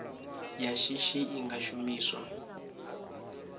ya shishi i nga shumiswa